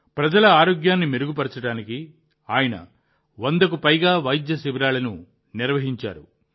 ప్రజల ఆరోగ్యాన్ని మెరుగుపరచడానికి ఆయన 100 కు పైగా వైద్య శిబిరాలను నిర్వహించారు